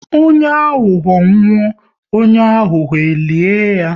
Onye ahụho nwụọ, onye ahụho e lie ya